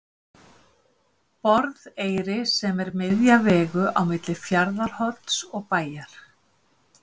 Borðeyri sem er miðja vegu á milli Fjarðarhorns og Bæjar.